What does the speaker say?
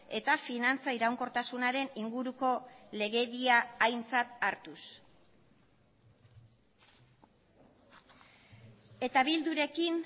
eta finantza iraunkortasunaren inguruko legedia aintzat hartuz eta bildurekin